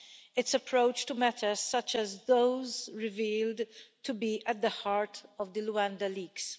its approach to matters such as those revealed to be at the heart of the Luanda Leaks.